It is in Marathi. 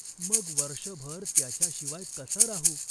मग वर्षभर त्याच्याशिवाय कसा राहू?